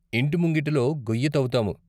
ఇంటి ముంగిటిలో గొయ్యి తవ్వుతాము.